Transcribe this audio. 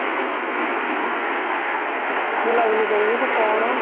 ବୁଲାବୁଲି କରିବେ କି କଣ